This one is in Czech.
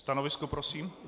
Stanovisko prosím.